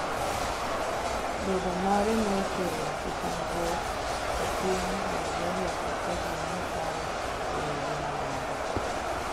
Bedo mare nokelo kihondruok e piny Naijeria kaka ji ne paro ewi ngima mare.